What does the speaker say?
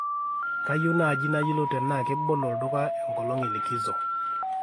kayieu naaji nayiolou tenaa kebolo olduka enkolong e likizo